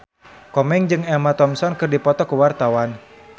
Komeng jeung Emma Thompson keur dipoto ku wartawan